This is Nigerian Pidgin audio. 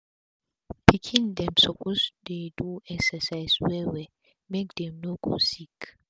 pikin dem suppose dey do exercise well well make dem no go sick